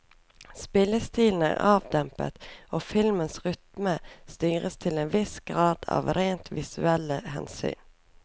Spillestilen er avdempet og filmens rytme styres til en viss grad av rent visuelle hensyn.